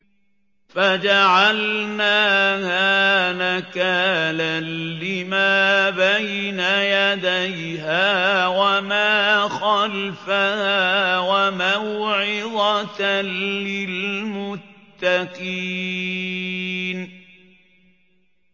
فَجَعَلْنَاهَا نَكَالًا لِّمَا بَيْنَ يَدَيْهَا وَمَا خَلْفَهَا وَمَوْعِظَةً لِّلْمُتَّقِينَ